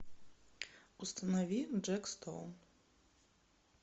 установи джек стоун